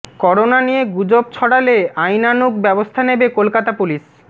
corona নিয়ে গুজব ছড়ালে আইনানুগ ব্যবস্থা নেবে কলকাতা পুলিশ